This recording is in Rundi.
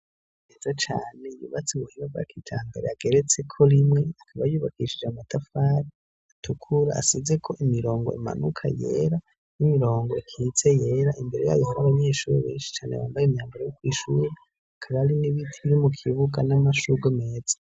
Heza cane yubatse muburyo bwa kijambere, ageretse ko rimwe akaba yubakishije amatafari atukura, asizeko imirongo impanuka yera n'imirongo ikitse yera ,imbere yayo hakaba hari abanyeshuri benshi cane bambaye imyanbaro yo kw'ishuri karaba hari n'ibiti biri mu kibuka n'amashugwe meza.